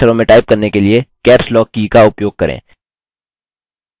बड़े अक्षरों में टाइप करने के लिए caps lock की का उपयोग करें